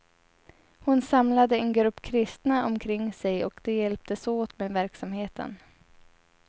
Hon samlade en grupp kristna omkring sig, och de hjälptes åt med verksamheten.